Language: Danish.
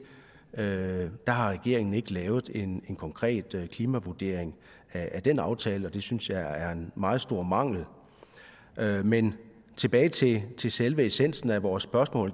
det har regeringen ikke lavet en konkret klimavurdering af den aftale og det synes jeg er en meget stor mangel men tilbage til til selve essensen af vores spørgsmål